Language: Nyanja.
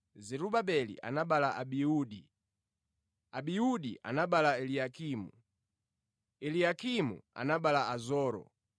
Zerubabeli anabereka Abiudi, Abiudi anabereka Eliakimu, Eliakimu anabereka Azoro.